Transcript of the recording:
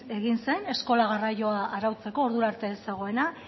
egin zen eskola garraioa arautzeko ordura arte ez zegoela